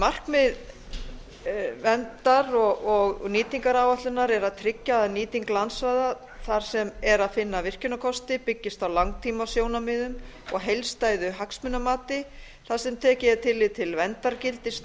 markmið verndar og nýtingaráætlunar er að tryggja að nýting landsvæða þar sem er að finna virkjunarkosti byggist á langtímasjónarmiðum og heildstæðu hagsmunamati þar sem tekið er tillit til verndargildis